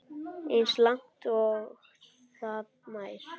Eins langt og það nær.